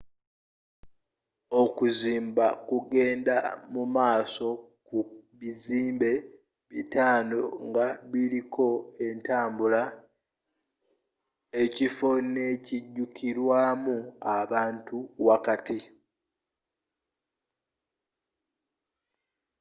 okuzimba kugenda mu maaso ku bizimbe bitano nga kuliko entambula ekifo n'ekijukilwamu abantu wakati